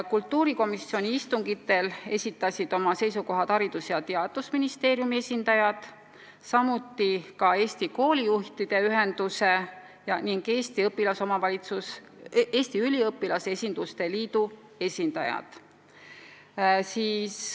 Kultuurikomisjoni istungitel esitasid oma seisukohad Haridus- ja Teadusministeeriumi esindajad, samuti Eesti Koolijuhtide Ühenduse ning Eesti Õpilasesinduste Liidu esindajad.